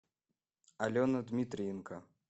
алена дмитриенко